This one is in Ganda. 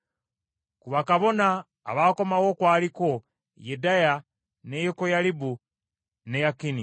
Ku bakabona abaakomawo kwaliko Yedaya, ne Yekoyalibu, ne Yakini,